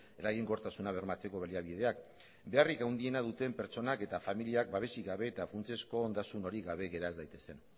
eraginkortasuna bermatzeko baliabideak beharrik handiena duten pertsonak eta familiak babesik gabe eta funtsezko ondasunik gabe gera ez daitezen